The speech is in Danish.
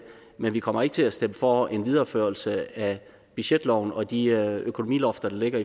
men vi kommer ikke til at stemme for en videreførsel af budgetloven og de økonomilofter der ligger